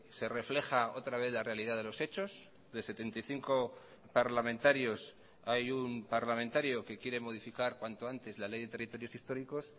se refleja otra vez la realidad de los hechos de setenta y cinco parlamentarios hay un parlamentario que quiere modificar cuanto antes la ley de territorios históricos